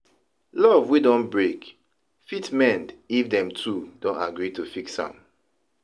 Luv wey don brake fit mend if dem two don agree to fix am